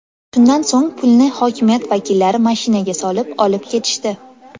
Shundan so‘ng pulni hokimiyat vakillari mashinaga solib, olib ketishdi.